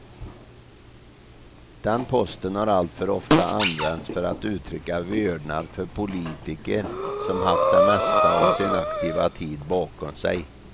Den posten har alltför ofta använts för att uttrycka vördnad för politiker som haft det mesta av sin aktiva tid bakom sig.